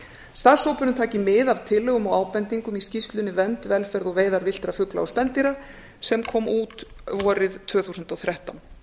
starfshópurinn taki mið af tillögum og ábendingum í skýrslunni vernd velferð og veiðar villtra fugla og spendýra sem kom út vorið tvö þúsund og þrettán